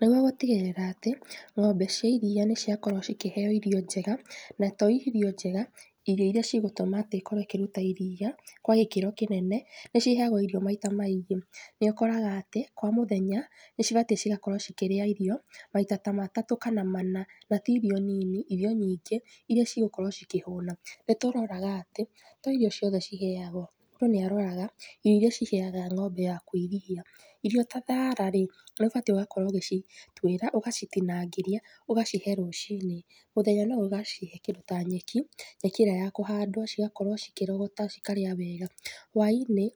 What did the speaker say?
Nĩguo gũtigĩrĩra atĩ ng'ombe cia iria nĩciakorwo cikĩheyo irio njega na to irio njega, irio irĩa cigũtuma ikorwo ĩkĩruta iria kwa gĩkĩro kĩnene nĩ ciheyagwo irio maita maingĩ nĩ ũkoraga ati kwa mũthenya nĩcibatiĩ gũkorwo cikĩria irio maita ta matatũ kana mana na ti irio nini, irio nyingĩ irĩa cigũkorwo cikĩhũna. Nĩtũroraga atĩ to irio ciothe ciheyagwo mũndũ nĩ aroraga irio irĩa ciheyaga ng'ombe yaku iria, irio ta thara rĩ nĩ ũbatĩĩ ũgakorwo ũgĩcituĩra ũgacitinangĩrĩa ũgacihe rũcinĩ, mũthenya no ũgacihe kĩndũ ta nyeki, nyeki ĩrĩa ya kũhandwo cigakorwo cikĩrogota cikarĩa wega. Hwa-inĩ